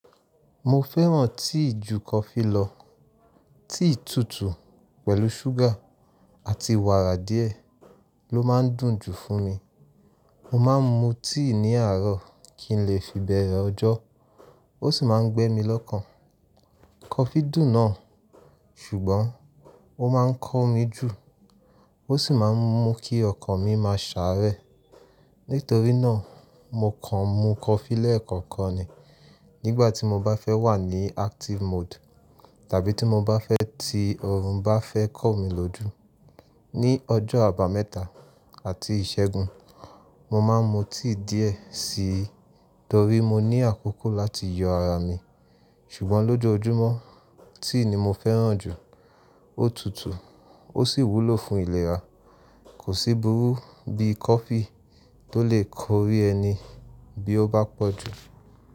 Mo fẹ́ràn tea ju coffee lọ. Tea tútù pẹ̀lú súgà àti wàrà díẹ̀ ló má ń dùn jù fún mi. Mo ma ń mu tíì ní àárọ̀ kí ń lè fi bẹ̀rẹ̀ ọjọ́, ó sì ma ń gbẹ́ mi lọ́kàn. Coffee dùn náà, ṣùgbọ́n ó ma ń kọ́ mi jù, ó sì ma ń mú kí ọkàn mi má a sàárẹ̀. Nítorí náà, mo kàn mu coffee lẹ́ẹ̀kọ̀kan ni nígbà tí mo bá fẹ́ wà ní active mode tàbí tí mo bá fẹ́ ti ọrùn bá fẹ́ kọ́ mi lójú. Ní ọjọ́ àbámẹ́ta àti ìṣẹ́gun, mo ma ń mu tea díẹ̀ síi torí mo ní àkókò láti yọ ara mi. Ṣùgbọ́n lójojúmọ́, tea ni mo fẹ́ràn jù. Ó tútù, ó sì wúlò fún ìlera. Kò sí burú bí coffee tó lè kọrí ẹni bí ó bá pọ̀ jù.